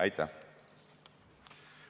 Aitäh!